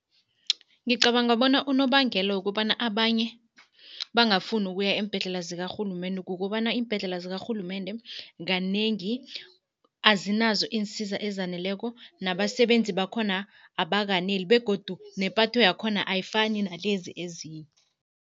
Ngicabanga bona unobangela wokobana abanye bangafuni ukuya eembhedlela zIkarhulumende kukobana iimbhedlela zIkarhulumende, kanengi azinazo iinsiza ezaneleko nabasebenzi bakhona abakaneli begodu nepatho yakhona ayifani nalezi ezinye.